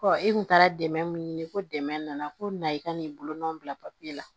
i kun taara dɛmɛ min ɲini ko dɛmɛ nana ko na i ka n'i bolonɔ bila papiye la